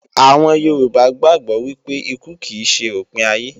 Àwọn Yorùbá gbàgbó wípé ikú kì ṣe òpin ayé